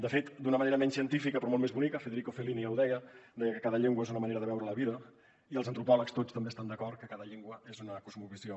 de fet d’una manera menys científica però molt més bonica federico fellini ja ho deia deia que cada llengua és una manera de veure la vida i els antropòlegs tots també estan d’acord que cada llengua és una cosmovisió